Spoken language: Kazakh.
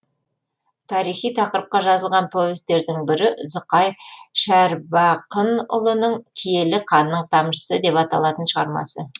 тарихи тақырыпқа жазылған повестердің бірі зұқай шәрбақынұлының киелі қанның тамшысы деп аталатын шығармасы